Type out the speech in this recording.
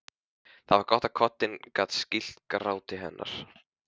Það var gott að koddinn gat skýlt gráti hennar.